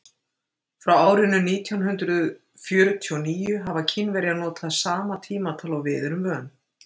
frá árinu nítján hundrað fjörutíu og níu hafa kínverjar notað sama tímatal og við erum vön